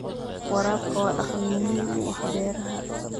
Waraabka waa dhaqan muhiim u ah beeraha.